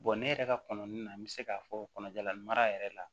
ne yɛrɛ ka kɔnɔni na n bɛ se k'a fɔ kɔnɔjalan mara yɛrɛ la